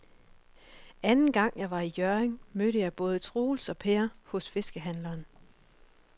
Anden gang jeg var i Hjørring, mødte jeg både Troels og Per hos fiskehandlerne.